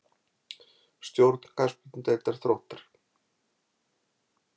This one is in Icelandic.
Stjórn Knattspyrnudeildar Þróttar.